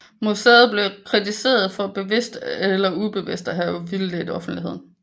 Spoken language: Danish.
Museet blev kritiseret for bevidst eller eller ubevidst at have vildledt offentligeden